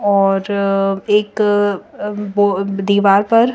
और एक अ बो दीवार पर--